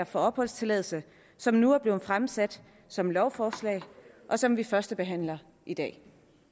for opholdstilladelse som nu er blevet fremsat som lovforslag og som vi førstebehandler i dag